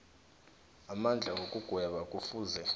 amandla wokugweba kufuze